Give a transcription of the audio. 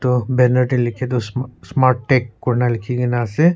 aro banner deh likhia du sm smart tech kurna likhigina asey.